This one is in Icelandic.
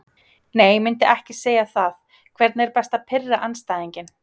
Nei myndi ekki segja það Hvernig er best að pirra andstæðinginn?